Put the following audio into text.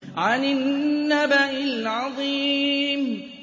عَنِ النَّبَإِ الْعَظِيمِ